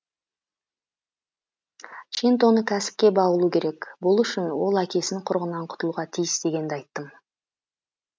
чинтоны кәсіпке баулу керек бұл үшін ол әкесінің құрығынан құтылуға тиіс дегенді айттым